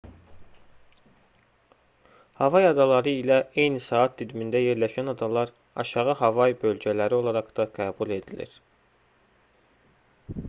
havay adaları ilə eyni saat dilimində yerləşən adalar aşağı havay bölgələri olaraq da qəbul edilir